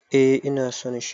Eh ina son shi.